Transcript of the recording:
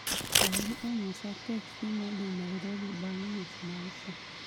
Olli onyisa teksi modhi Nairobi bang' nus ma saa